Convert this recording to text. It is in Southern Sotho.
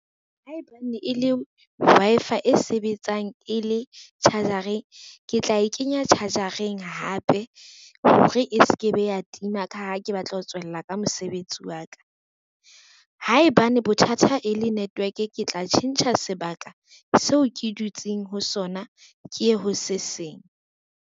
Haebane e le Wi-Fi e sebetsang e le charger-eng, ke tla e kenya charger-eng hape hore e se ke be ya tima ka ha ke batla ho tswella ka mosebetsi wa ka. Haebane bothata e le network, ke tla tjhentjha sebaka seo ke dutseng ho sona ke ye ho seseng.